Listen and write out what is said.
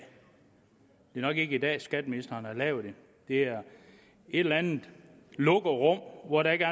nok ikke i dag at skatteministeren har lavet det det er i et eller andet lukket rum hvor der ikke